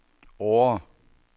Årre